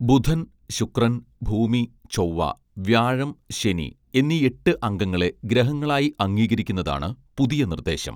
ബുധൻ ശുക്രൻ ഭൂമി ചൊവ്വ വ്യാഴം ശനി എന്നീ എട്ട് അംഗങ്ങളെ ഗ്രഹങ്ങളായി അംഗീകരിക്കുന്നതാണ് പുതിയ നിർദേശം